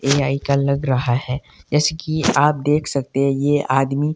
ये लग रहा है जैसे की आप देख सकते हैं ये आदमी--